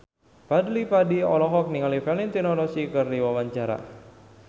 Fadly Padi olohok ningali Valentino Rossi keur diwawancara